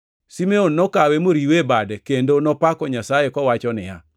Simeon nokawe moriwe e bade kendo nopako Nyasaye, kowacho niya,